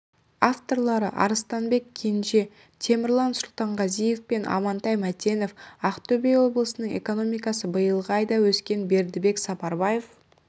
авторлары арыстанбек кенже темірлан сұлтанғазиев пен амантай мәтенов ақтөбе облысының экономикасы биылғы айда өскен бердібек сапарбаев